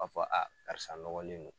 b'a fɔ karisa nɔgɔlen do.